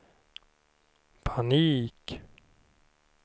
panik